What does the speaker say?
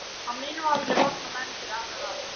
Á mínum aldri vakna menn fyrir allar aldir.